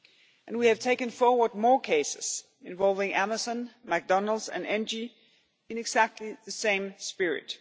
And we have taken forward more cases involving Amazon, McDonald's and Engie in exactly the same spirit.